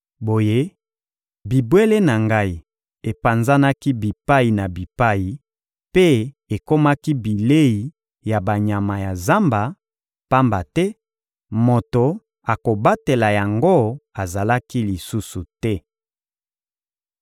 Boye, bibwele na Ngai epanzanaki bipai na bipai mpe ekomaki bilei ya banyama ya zamba, pamba te moto akobatela yango azalaki lisusu te.